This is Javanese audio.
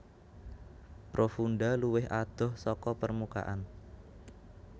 Profunda luwih adoh saka permukaan